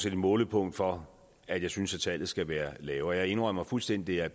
et målepunkt for at jeg synes tallet skal være lavere jeg indrømmer fuldstændig at